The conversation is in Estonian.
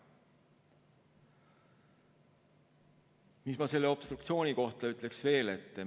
Mis ma selle obstruktsiooni kohta veel ütleksin?